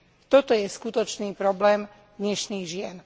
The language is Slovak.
Toto je skutočný problém dnešných žien.